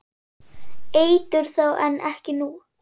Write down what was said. Eitur þá en ekki nú?